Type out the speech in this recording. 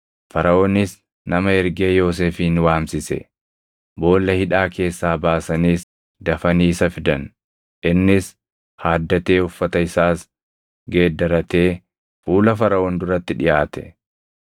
Faraʼoonis nama ergee Yoosefin waamsise; boolla hidhaa keessaa baasaniis dafanii isa fidan. Innis haaddatee uffata isaas geeddarratee fuula Faraʼoon duratti dhiʼaate.